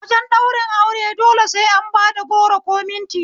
Wajen ɗaurin aure dole sai an bad goro ko minti